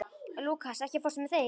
Lúkas, ekki fórstu með þeim?